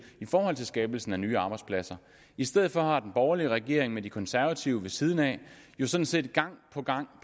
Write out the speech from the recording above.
om skabelse af nye arbejdspladser i stedet for har den borgerlige regering med de konservative ved siden af jo sådan set gang på gang